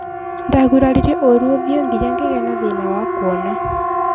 Ndaguraririo ũru ũthiũ nginya ngĩ gĩ a na thĩ na wa kuona.